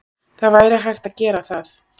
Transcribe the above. Það væri hægt að gera það.